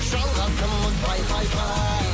жалғасымыз пай пай пай